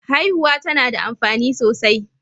Hiauwa tana da amfani sosai